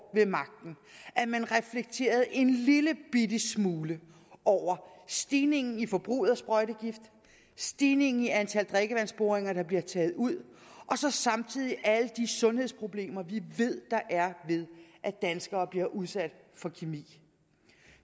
ved magten at man reflekterede en lillebitte smule over stigningen i forbruget af sprøjtegift stigningen i antal drikkevandsboringer der bliver taget ud og så samtidig alle de sundhedsproblemer vi ved der er ved at danskere bliver udsat for kemi